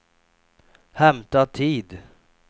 hämta tid